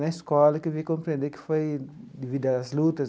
Na escola, que eu vim compreender que foi devido às lutas,